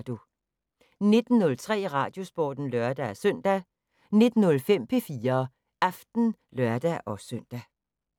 19:03: Radiosporten (lør-søn) 19:05: P4 Aften (lør-søn)